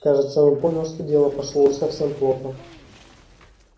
кажется он понял что дело пошло уж совсем плохо